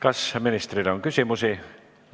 Kas ministrile on küsimusi?